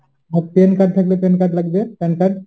আর PAN card থাকলে PAN card লাগবে PAN card